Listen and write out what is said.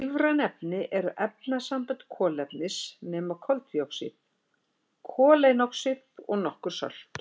Lífræn efni eru efnasambönd kolefnis nema koltvíoxíð, koleinoxíð og nokkur sölt.